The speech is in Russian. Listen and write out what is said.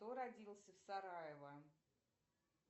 кто родился в сараево